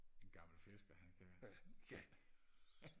en gammel fisker han kan